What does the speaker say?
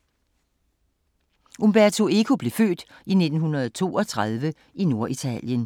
Umberto Eco blev født i 1932 i Norditalien.